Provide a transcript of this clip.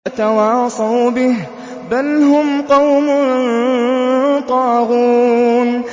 أَتَوَاصَوْا بِهِ ۚ بَلْ هُمْ قَوْمٌ طَاغُونَ